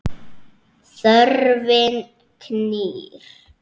Þörfin knýr.